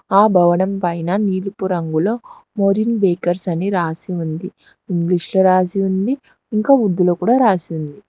ఆ భవనం పైన నీలిపు రంగులో మొరింగ్ బేకర్స్ అని రాసి ఉంది ఇంగ్లీష్ లో రాసి ఉంది ఇంకా ఉర్దూ లో రాసి ఉంది.